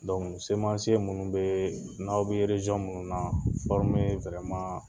minnu bee n 'aw bi minnu na